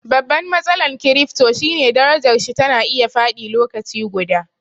Babban matsalan kirifto shine darajarshi tana iya faɗi lokaci guda